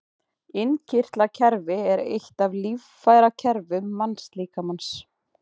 Innkirtlakerfi er eitt af líffærakerfum mannslíkamans.